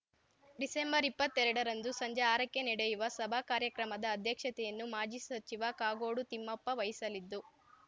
December ಇಪ್ಪತ್ತೆರಡರಂದು ಸಂಜೆ ಆರಕ್ಕೆ ನೆಡೆಯುವ ಸಭಾ ಕಾರ್ಯಕ್ರಮದ ಅಧ್ಯಕ್ಷತೆಯನ್ನು ಮಾಜಿ ಸಚಿವ ಕಾಗೋಡು ತಿಮ್ಮಪ್ಪ ವಹಿಸಲಿದ್ದು